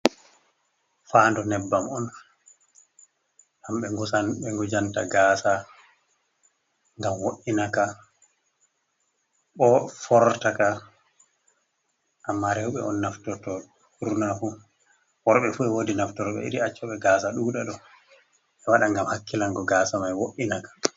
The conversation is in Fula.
Fandu nyebbam on jai ɓe ngujanta gasa ngam woinaka ko fortaka amma rewɓe on naftorto ɓurnafu, worɓe fu e wodi naftorɓe iri accoɓe gasa ɗuɗa ɗo, be waɗa ngam hakkilango gasa mai wo’inaka.